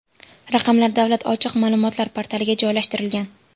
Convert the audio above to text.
Raqamlar Davlat ochiq ma’lumotlar portaliga joylashtirilgan.